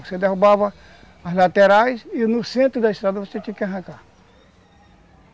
Você derrubava as laterais e no centro da estrada você tinha que arrancar.